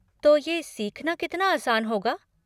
तो ये सीखना कितना आसान होगा?